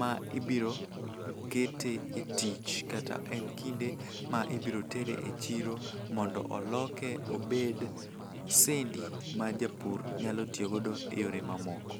ma ibirokete e tich kata en kinde ma ibiro tyere e chiro mondo oloke obed sendi ma japur nyalo tiyogo e yore mamoko.